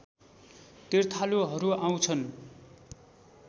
तीर्थालुहरू आउँछन्